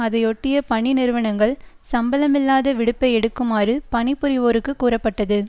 அதையொட்டிய பணி நிறுவனங்கள் சம்பளமில்லாத விடுப்பை எடுக்குமாறு பணி புரிவோருக்கு கூறப்பட்டது